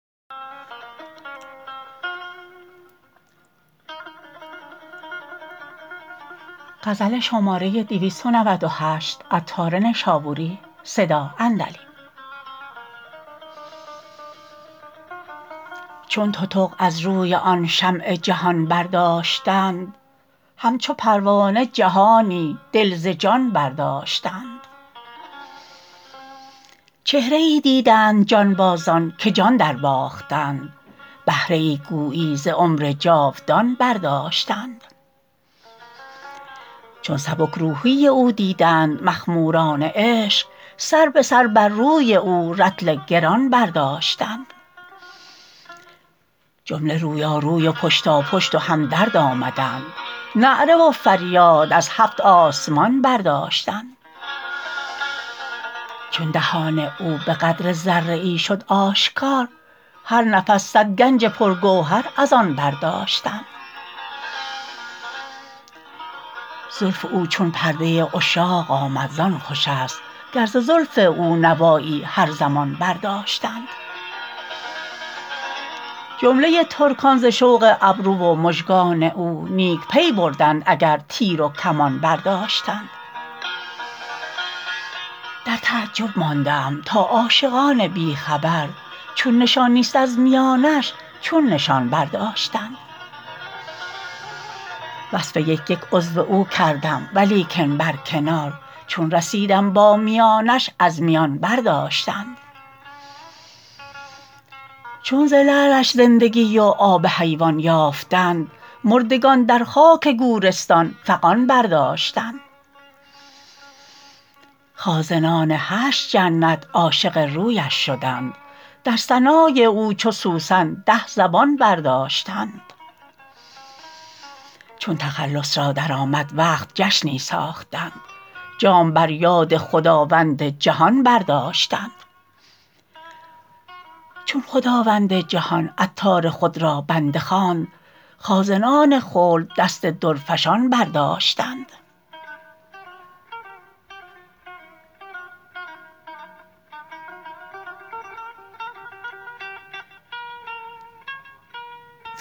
چون تتق از روی آن شمع جهان برداشتند همچو پروانه جهانی دل ز جان برداشتند چهره ای دیدند جانبازان که جان درباختند بهره ای گویی ز عمر جاودان برداشتند چون سبک روحی او دیدند مخموران عشق سر به سر بر روی او رطل گران برداشتند جمله رویا روی و پشتا پشت و همدرد آمدند نعره و فریاد از هفت آسمان برداشتند چون دهان او بقدر ذره ای شد آشکار هر نفس صد گنج پر گوهر از آن برداشتند زلف او چون پرده عشاق آمد زان خوش است گر ز زلف او نوایی هر زمان برداشتند جمله ترکان ز شوق ابروی و مژگان او نیک پی بردند اگر تیر و کمان برداشتند در تعجب مانده ام تا عاشقان بی خبر چون نشان نیست از میانش چون نشان برداشتند وصف یک یک عضو او کردم ولیکن برکنار چون رسیدم با میانش از میان برداشتند چون ز لعلش زندگی و آب حیوان یافتند مردگان در خاک گورستان فغان برداشتند خازنان هشت جنت عاشق رویش شدند در ثنای او چو سوسن ده زبان برداشتند چون تخلص را درآمد وقت جشنی ساختند جام بر یاد خداوند جهان برداشتند چون خداوند جهان عطار خود را بنده خواند خازنان خلد دست درفشان برداشتند